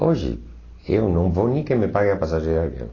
Hoje eu não vou nem que me paguem a passagem de avião.